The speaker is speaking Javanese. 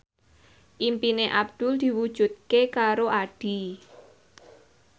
impine Abdul diwujudke karo Addie